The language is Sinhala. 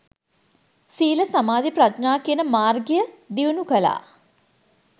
සීල සමාධි ප්‍රඥා කියන මාර්ගය දියුණු කළා